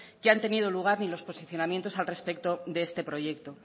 que han tenido lugar ni los posicionamientos al respecto de este proyecto